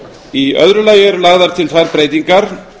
í öðru lagi eru lagðar til þær breytingar